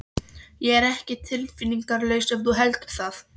Ég er ekki tilfinningalaus ef þú heldur það.